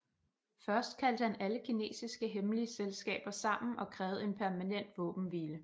Først kaldte han alle kinesiske hemmelige selskaber sammen og krævede en permanent våbenhvile